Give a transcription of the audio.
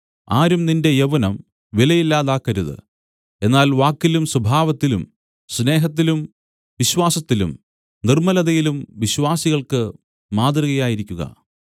ആരും നിന്റെ യൗവനം വിലയില്ലാതാക്കരുത് എന്നാൽ വാക്കിലും സ്വഭാവത്തിലും സ്നേഹത്തിലും വിശ്വാസത്തിലും നിർമ്മലതയിലും വിശ്വാസികൾക്ക് മാതൃകയായിരിക്കുക